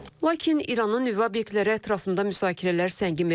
Lakin İranın nüvə obyektləri ətrafında müsakirələr səngimir.